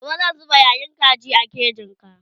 gobe zan zuba yayan kaji a kejin ga